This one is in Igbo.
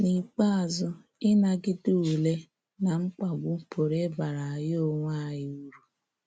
N’ikpeazụ, ịnagide ule na mkpagbu pụrụ ịbara anyị onwe anyị uru.